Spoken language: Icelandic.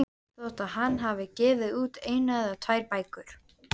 Þótt hann hafi gefið út eina eða tvær bækur.